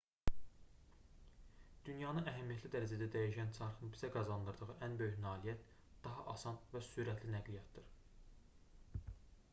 dünyanı əhəmiyyətli dərəcədə dəyişən çarxın bizə qazandırdığı ən böyük nailiyyət daha asan və sürətli nəqliyyatdır